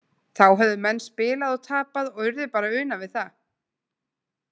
Þá höfðu menn spilað og tapað og urðu bara að una við það.